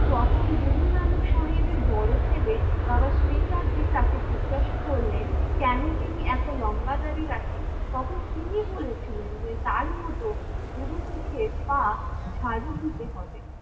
যখন গুরু নানক সাহেবের বড়ো ছেলে বাবা শ্রীচাঁদজী তাকে জিজ্ঞাসা করলেন, কেন তিনি এতো লম্বা দাড়ি রাখেন তখন তিনি বলেছিলেন যে তার মতো পুড়ো মুখের পা ঝাডূ দিতে হবে